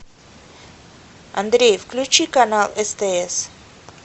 андрей включи канал стс